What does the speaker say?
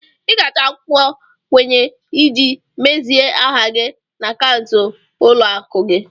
Ị ga-achọ akwụkwọ nkwenye iji mezie aha gị na akaụntụ ụlọ akụ gị.